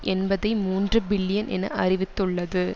எண்பதி மூன்று பில்லியன் என அறிவித்துள்ளது